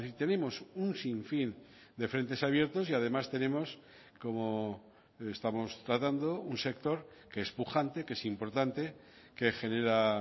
tenemos un sin fin de frentes abiertos y además tenemos como estamos tratando un sector que es pujante que es importante que genera